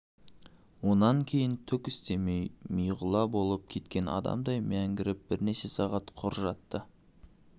онан кейін түк істемей миғұла болып кеткен адамдай мәңгіріп бірнеше сағат құр жатты